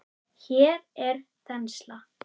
Hér er þensla.